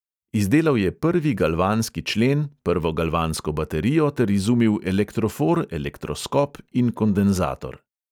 Izdelal je prvi galvanski člen, prvo galvansko baterijo ter izumil elektrofor, elektroskop in kondenzator.